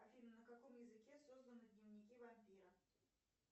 афина на каком языке созданы дневники вампира